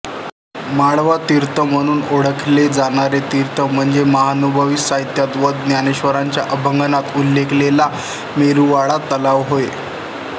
माळवातीर्थ म्हणून ओळखले जाणारे तीर्थ म्हणजे महानुभावी साहित्यात व ज्ञानेश्वरांच्या अभंगांत उल्लेखिलेला मेरुवाळा तलाव होय